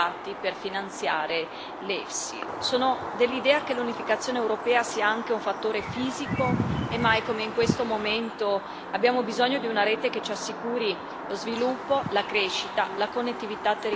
Sono dell'idea che l'unificazione europea sia anche un fattore fisico, e mai come in questo momento abbiamo bisogno di una rete che ci assicuri lo sviluppo, la crescita, la connettività territoriale anche nelle zone remote.